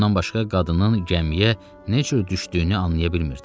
Bundan başqa qadının gəmiyə necə düşdüyünü anlaya bilmirdi.